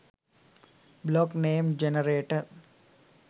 blog name generator